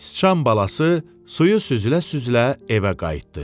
Sıçan balası suyu süzülə-süzülə evə qayıtdı.